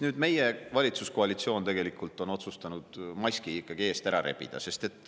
Nüüd meie valitsuskoalitsioon on otsustanud maski ikkagi eest ära rebida.